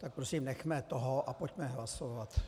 Tak prosím, nechme toho a pojďme hlasovat.